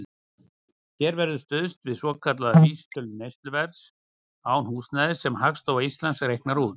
Hér verður stuðst við svokallaða vísitölu neysluverðs án húsnæðis, sem Hagstofa Íslands reiknar út.